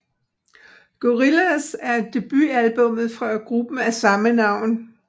Gorillaz er debutalbummet fra gruppen af samme navn